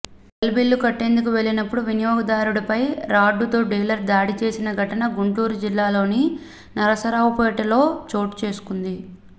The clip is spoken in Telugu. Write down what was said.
సెల్ బిల్లు కట్టేందుకు వెళ్లిన వినియోగదారుడిపై రాడ్డుతో డీలర్ దాడి చేసిన ఘటన గుంటూరు జిల్లాలోని నరసరావుపేటలో చోటు చేసుకుంది